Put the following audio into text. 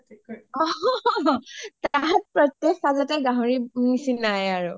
তাত প্ৰত্যেকখন খাজতে গাহৰিৰ নিচিনায়ে আৰু